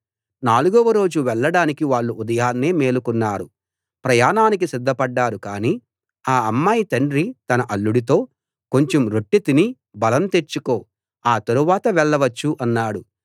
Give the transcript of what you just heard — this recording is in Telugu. నాలుగవ రోజు వెళ్ళడానికి వాళ్ళు ఉదయాన్నే మేలుకున్నారు ప్రయాణానికి సిద్ధపడ్డారు కాని ఆ అమ్మాయి తండ్రి తన అల్లుడితో కొంచెం రొట్టె తిని బలం తెచ్చుకో ఆ తరువాత వెళ్ళవచ్చు అన్నాడు